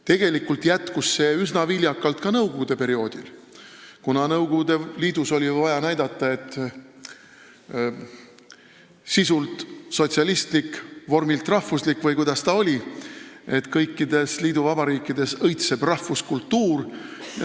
Tegelikult jätkus see üsna viljakalt ka nõukogude perioodil, kuna Nõukogude Liidus oli vaja näidata, et kultuur on sisult sotsialistlik ja vormilt rahvuslik või kuidas see oligi, et kõikides liiduvabariikides õitseb rahvuskultuur.